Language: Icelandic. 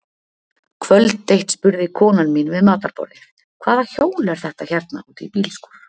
Kvöld eitt spurði konan mín við matarborðið: Hvaða hjól er þetta hérna út í bílskúr?